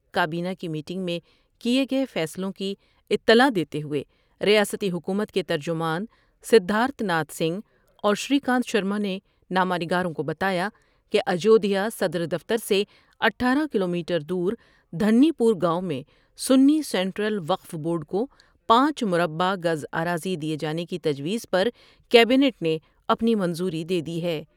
کابینہ کی میٹنگ میں کئے گئے فیصلوں کی اطلاع دیتے ہوئے ریاستی حکومت کے ترجمان سدھارتھ ناتھ سنگھ اور شری کانت شرما نے نامہ نگاروں کو بتا یا کہ اجودھیا صدر دفتر سے اٹھارہ کلو میٹر دور دھنی پور گاؤں میں سنی سینٹرل وقف بورڈ کو پانچ مربہ گز آراضی دئے جانے کی تجویز پر کیبنیٹ نے اپنی منظوری دے دی ہے۔